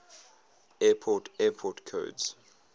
airport airport codes